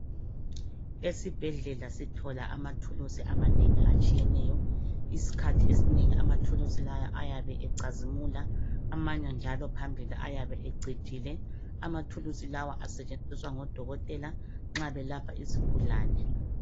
Esibhedlela sithola amathuluzi amanengi atshiyeneyo iskhathi esinengi amathuluzi lawa ayabe ecazimula amanye njalo phambili ayabe ecijile amathuluzi lawa asetshenziswa ngodokotela nxa belapha izigulane.